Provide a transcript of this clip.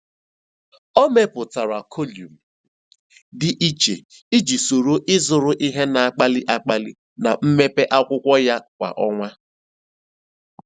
Ọ mepụtara kọlụm dị iche iji soro ịzụrụ ihe na-akpali akpali na mpempe akwụkwọ ya kwa ọnwa.